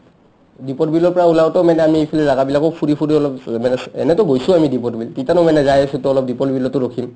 দিপৰ বিলৰ পৰা উলাওতে আমি ইফালে জাগাবিলাকো ফুৰি ফুৰি অলপ মানে এনেটো গৈছো আমি দিপৰ বিল তিতানো মানে যাই আছো to দিপৰ বিলতো অলপ ৰখিম ।